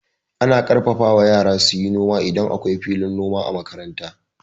Ana ƙarfafa wa yara suyi noma idan akwai filin noma a makaranta.